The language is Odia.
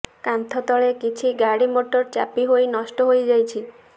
କାନ୍ଥ ତଳେ କିଛି ଗାଡ଼ିମୋଟର ଚାପି ହୋଇ ନଷ୍ଟ ହୋଇଯାଇଛି